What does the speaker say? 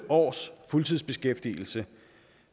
års fuldtidsbeskæftigelse